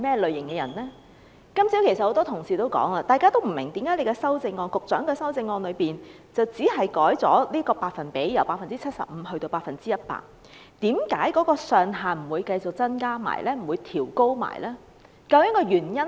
正如今天早上多位議員亦提到，他們不明白為何局長的修正案只是將百分率由 75% 修訂為 100%， 但同時卻沒有增加或調高款額上限。